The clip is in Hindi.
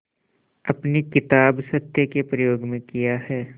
अपनी किताब सत्य के प्रयोग में किया है